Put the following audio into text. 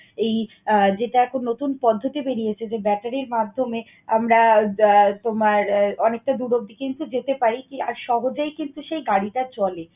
এই আহ যেটা এখন নতুন পদ্ধতি বেরিয়েছে যে, battery র মাধ্যমে আমরা আহ তোমার, অনেকটা দূর অব্দি কিন্তু যেতে পারি আর সহজেই কিন্তু সেই গাড়িটা চলে।